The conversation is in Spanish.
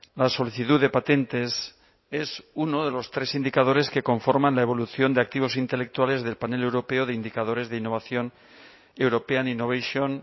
la solicitud de patentes es uno de los tres indicadores que conforman la evolución de activos intelectuales del panel europeo de indicadores de innovación european innovation